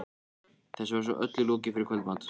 Þessu var svo öllu lokið fyrir kvöldmat.